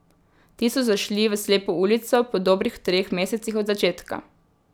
Ti so zašli v slepo ulico po dobrih treh mesecih od začetka.